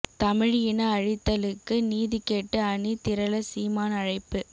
தமிழ் இன அழித்தலுக்கு நீதி கேட்டு அணி திரள சீமான் அழைப்பு